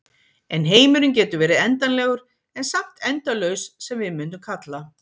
En heimurinn getur verið endanlegur en samt endalaus sem við mundum kalla.